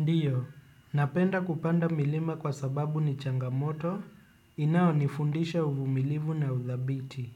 Ndiyo, napenda kupanda milima kwa sababu ni changamoto inao nifundisha uvumilivu na udhabiti.